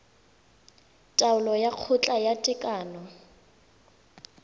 taolo ya kgotla ya tekano